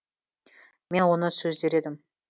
мен оны сөз дер едім